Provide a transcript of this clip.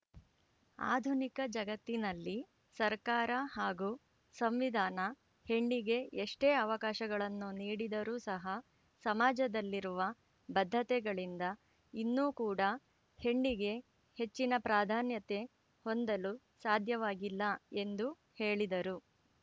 ಆಧುನಿಕ ಜಗತ್ತಿನಲ್ಲಿ ಸರಕಾರ ಹಾಗೂ ಸಂವಿಧಾನ ಹೆಣ್ಣಿಗೆ ಎಷ್ಟೇ ಅವಕಾಶಗಳನ್ನು ನೀಡಿದರೂ ಸಹ ಸಮಾಜದಲ್ಲಿರುವ ಬದ್ಧತೆಗಳಿಂದ ಇನ್ನೂ ಕೂಡ ಹೆಣ್ಣಿಗೆ ಹೆಚ್ಚಿನ ಪ್ರಾಧಾನ್ಯತೆ ಹೊಂದಲು ಸಾಧ್ಯವಾಗಿಲ್ಲ ಎಂದು ಹೇಳಿದರು